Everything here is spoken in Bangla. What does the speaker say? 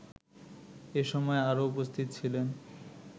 এসময় আরো উপস্থিত ছিলেন